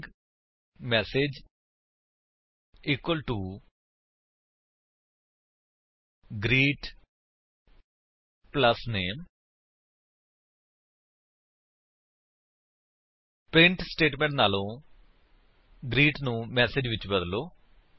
string MSG equal to greet plus name print statement ਵਲੋਂ greet ਨੂੰ message ਵਿੱਚ ਬਦਲੋ